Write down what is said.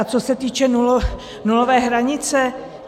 A co se týče nulové hranice.